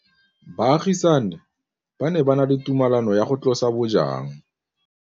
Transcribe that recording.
Baagisani ba ne ba na le tumalanô ya go tlosa bojang.